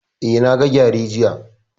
Eh, na ga gyare jiya